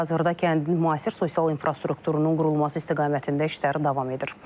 Hazırda kəndin müasir sosial infrastrukturunun qurulması istiqamətində işləri davam edir.